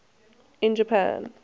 in japan